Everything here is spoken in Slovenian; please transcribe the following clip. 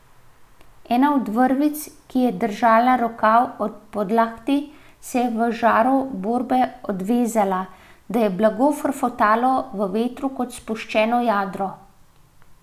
Ena od vrvic, ki je držala rokav ob podlakti, se je v žaru borbe odvezala, da je blago frfotalo v vetru kot spuščeno jadro.